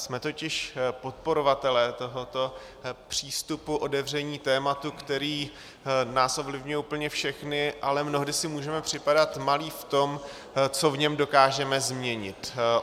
Jsme totiž podporovatelé tohoto přístupu otevření tématu, který nás ovlivňuje úplně všechny, ale mnohdy si můžeme připadat malí v tom, co v něm dokážeme změnit.